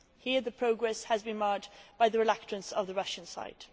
Here the progress has been marred by the reluctance on the Russian side.